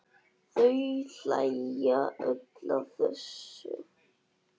Þau hlæja öll að þessu.